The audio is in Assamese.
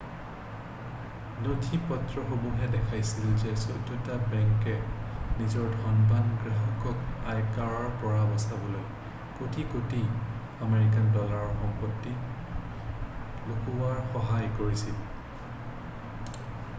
নথিপত্ৰসমূহে দেখাইছিল যে চৈধটা বেংকে নিজৰ ধনবান গ্ৰাহকক আয়কৰৰ পৰা বচাবলৈ কোটি কোটি আমেৰিকান ডলাৰৰ সম্পত্তি লুকোৱাত সহায় কৰিছিল